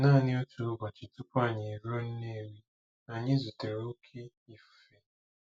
Naanị otu ụbọchị tupu anyị eruo Nnewi, anyị zutere oké ifufe.